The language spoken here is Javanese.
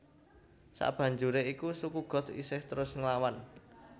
Sakbanjuré iku suku Goth isih terus nglawan